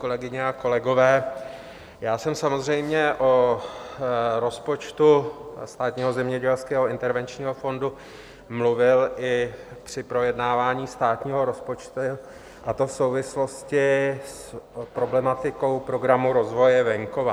Kolegyně a kolegové, já jsem samozřejmě o rozpočtu Státního zemědělského intervenčního fondu mluvil i při projednávání státního rozpočtu, a to v souvislosti s problematikou Programu rozvoje venkova.